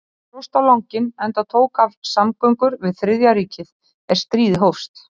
Þetta dróst á langinn, enda tók af samgöngur við Þriðja ríkið, er stríðið hófst.